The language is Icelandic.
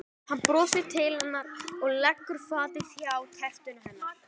Hann brosir til hennar og leggur fatið hjá tertunni hennar.